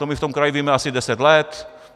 To my v tom kraji víme asi deset let.